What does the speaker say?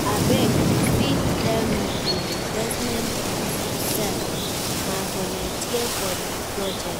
Abeg, you fit tell me di requirements, me sef wan voluteer for di project.